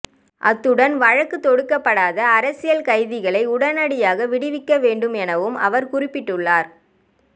அத்துடன் வழக்கு தொடுக்கப்படாத அரசியல் கைதிகளை உடனடியாக விடுவிக்கவேண்டும் எனவும் அவர் குறிப்பிட்டுள்ளார்